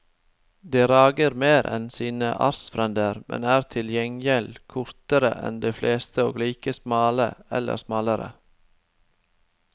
De rager mer enn sine artsfrender, men er til gjengjeld kortere enn de fleste og like smale eller smalere.